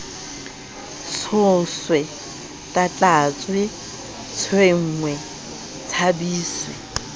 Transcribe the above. tshoswe tlatlatjwe tshwengwe tsha biswe